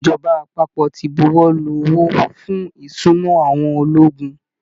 Ìjọba àpapọ̀ ti buwọ́ lu owó fún ìsúná àwọn ológun